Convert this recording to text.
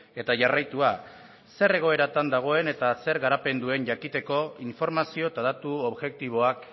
eta jarraitua zer egoeratan dagoen eta zer garapen duen jakiteko informazio eta datu objektiboak